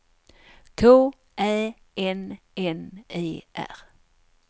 K Ä N N E R